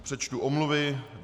Přečtu omluvy.